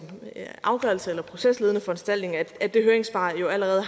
en afgørelse eller procesledende foranstaltning har jo allerede